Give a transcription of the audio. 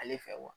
Ale fɛ